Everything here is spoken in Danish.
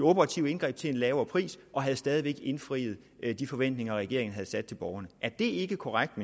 operative indgreb til en lavere pris og havde stadig væk indfriet de forventninger regeringen havde sat til borgerne er det ikke korrekt